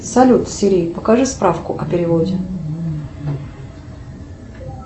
салют сири покажи справку о переводе